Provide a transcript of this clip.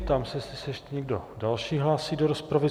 Ptám se, jestli se ještě někdo další hlásí do rozpravy.